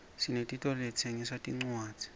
sinetitolo letitsengisa tincwadzi